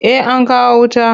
Eh an kawo wuta.